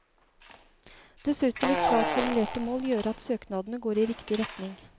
Dessuten vil klart formulerte mål gjøre at søknadene går i riktig retning.